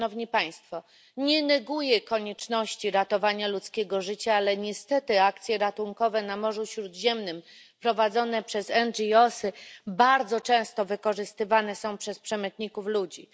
Nie neguję konieczności ratowania ludzkiego życia, ale niestety akcje ratunkowe na Morzu Śródziemnym prowadzone przez NGO sy bardzo często wykorzystywane są przez przemytników ludzi.